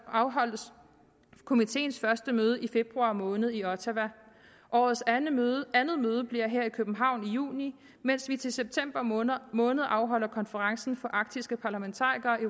afholdes komiteens første møde i februar måned i ottawa årets andet møde andet møde bliver her i københavn i juni mens vi til september måned måned afholder konferencen for arktiske parlamentarikere i